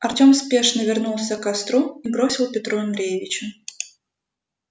артем спешно вернулся к костру и бросил петру андреевичу